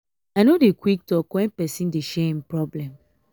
i no dey quick talk wen pesin dey share im problem.